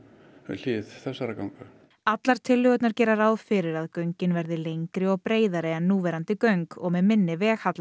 við hlið þessara ganga allar tillögurnar gera ráð fyrir að göngin verði lengri og breiðari en núverandi göng og með minni